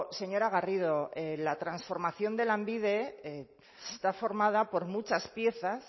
señora garrido la transformación de lanbide está formada por muchas piezas